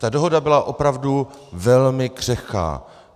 Ta dohoda byla opravdu velmi křehká.